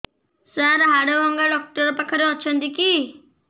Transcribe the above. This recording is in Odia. ସାର ହାଡଭଙ୍ଗା ଡକ୍ଟର ପାଖରେ ଅଛନ୍ତି କି